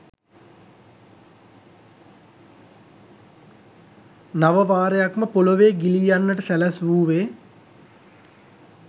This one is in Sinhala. නව වාරයක්ම පොළොවේ ගිලී යන්නට සැලැස්වූවේ